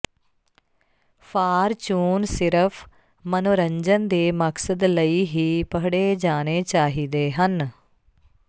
fortune ਸਿਰਫ ਮਨੋਰੰਜਨ ਦੇ ਮਕਸਦ ਲਈ ਹੀ ਪੜ੍ਹੇ ਜਾਣੇ ਚਾਹੀਦੇ ਹਨ